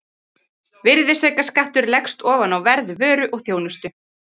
Virðisaukaskattur leggst ofan á verð vöru og þjónustu.